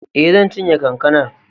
E, zan cinye kankanar.